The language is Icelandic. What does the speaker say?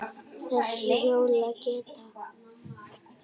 Þessi hljóð geta